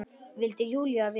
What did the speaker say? vildi Júlía vita.